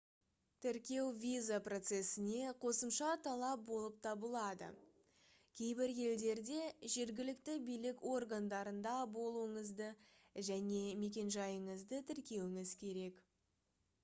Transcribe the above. тіркеу виза процесіне қосымша талап болып табылады кейбір елдерде жергілікті билік органдарында болуыңызды және мекенжайыңызды тіркеуіңіз керек